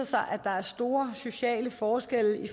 sig at der er store sociale forskelle